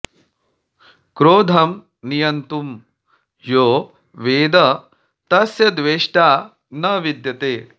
क्रोधं नियन्तुं यो वेद तस्य द्वेष्टा न विद्यते